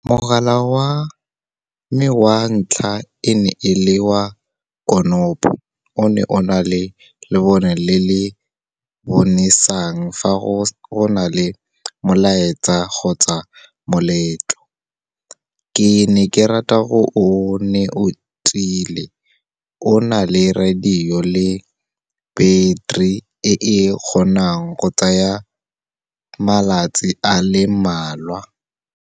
Mogala wa me wa ntlha, e ne e le wa konopo. O ne o na le lebone le le bonesang, fa go na le molaetsa kgotsa moletlo. Ke ne ke rata gonne o ne o tiile. O na le radio le beteri e e kgonang go tsaya malatsi a le mmalwa.